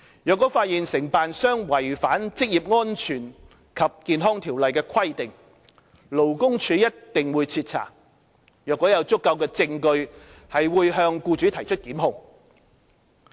若發現承辦商違反《職業安全及健康條例》的規定，勞工處一定會徹查，如果有足夠的證據，會向僱主提出檢控。